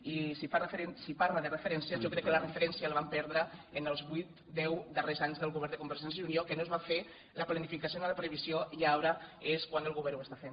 i si parla de referències jo crec que la referència la van perdre en els vuit deu darrers anys del govern de convergència i unió que no es va fer la planificació ni la previsió i ara és quan el govern ho està fent